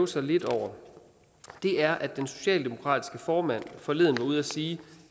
sig lidt over er at hvor den socialdemokratiske formand forleden var ude at sige